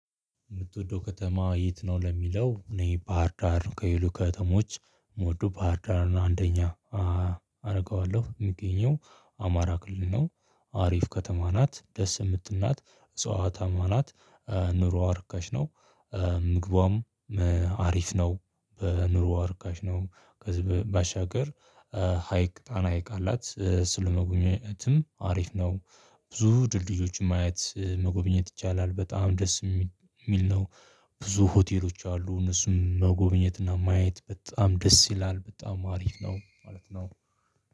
የምትወደው ከተማ የት ነው? ለሚለው እኔ ባህር ዳር ከይሉ ከተሞች የምወደው ባህር ዳርን አንደኛ። አደርገዋለሁ የሚገኘው አማራ ክልል ነው። አሪፍ ከተማ ናት ደስ የምትልናት እጽዋታማ ናት። ኑሮዋ እርካሽ ነው። ምግቧም አሪፍ ነው በኑሮ እርካሽ ነው። ከዚ በባሻገር ሀይቅ ጣና ሀይቅ አላት እሱን ለመጎብኘትም አሪፍ ነው። ብዙ ድልድዮችን ማየት መጎብኘት ይቻላል በጣም ደስ ሚሚል ነው። ብዙ ሆቴሎች አሉ እነሱን መጎብኘት እና ማየት በጣም ደስ ይላል በጣም አሪፍ ነው ማለት ነው